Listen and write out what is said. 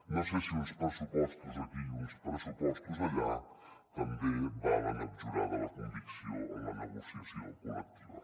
no sé si uns pressupostos aquí i uns pressupostos allà també valen abjurar de la convicció en la negociació col·lectiva